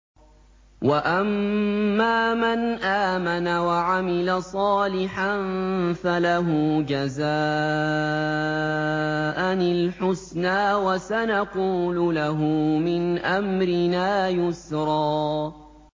وَأَمَّا مَنْ آمَنَ وَعَمِلَ صَالِحًا فَلَهُ جَزَاءً الْحُسْنَىٰ ۖ وَسَنَقُولُ لَهُ مِنْ أَمْرِنَا يُسْرًا